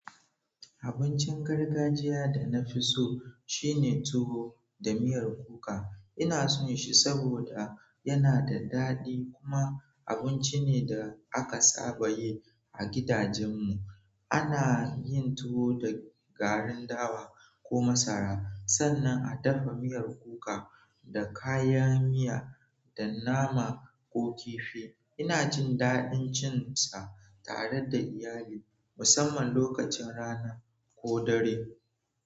Abincin gargajiya da na fi so shine tuwo da miyar kuka. Ina so shi saboda yana da daɗi kuma abinci ne da aka saba yi a gidajen mu. Ana yin tuwo da garin dawa ko masara, sannan a dafa miyar kuka da kayan miya da nama ko kifi. Ina jin daɗin cin sa tare da iyali, musamman lokacin rana ko dare.